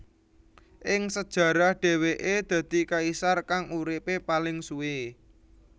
Ing sejarah dheweke dadi kaisar kang uripe paling suwe